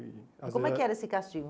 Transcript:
E às vezes era, como é que era esse castigo?